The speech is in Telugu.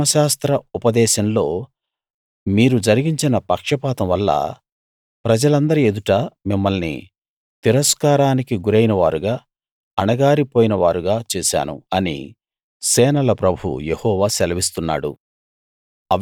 ధర్మశాస్త్ర ఉపదేశంలో మీరు జరిగించిన పక్షపాతం వల్ల ప్రజలందరి ఎదుట మిమ్మల్ని తిరస్కారానికి గురైన వారుగా అణగారి పోయిన వారుగా చేశాను అని సేనల ప్రభువు యెహోవా సెలవిస్తున్నాడు